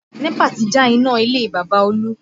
NEPA ti já iná ilé Bàbá Olú